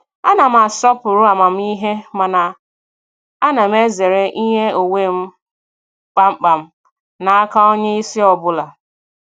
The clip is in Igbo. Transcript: A na m asọpụrụ amamihe mana ana m ezere inye onwe m kpamkpam n'aka onye isi ọbụla.